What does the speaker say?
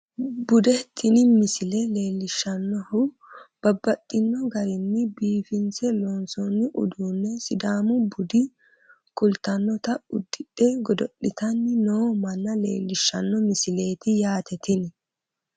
Bude tini misile leellishshannohu babbaxxino garinni biifinse loonsoonni udduno sidaamu bude kultannota udidhe godo'litanni noo manna leellishshanno misileeti yaate tini